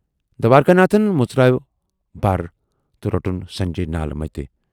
دوارِکا ناتھن مُژروو بَر تہٕ روٹُن سنجے نالہٕ مَتہِ۔